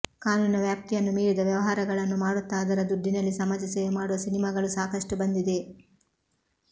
ಕಾನೂನಿನ ವ್ಯಾಪ್ತಿಯನ್ನು ಮೀರಿದ ವ್ಯವಹಾರಗಳನ್ನು ಮಾಡುತ್ತ ಅದರ ದುಡ್ಡಿನಲ್ಲಿ ಸಮಾಜ ಸೇವೆ ಮಾಡುವ ಸಿನೆಮಾಗಳು ಸಾಕಷ್ಟು ಬಂದಿವೆ